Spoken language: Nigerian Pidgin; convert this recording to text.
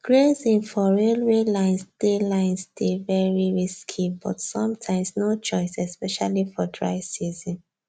grazing for railway lines dey lines dey very risky but sometimes no choice especially for dry season